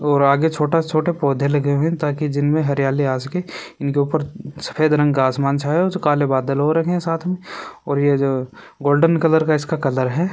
और आगे जो छोटा छोटा पोधे लगे हुए है ताकि जिनमे हरियाली आ सके इसने ऊपर सफेद रंग का आसमान छाया हुआ है जो काले बादल हो रहे है साथ मे और ये जो गोल्डन कलर का इसका कलर है।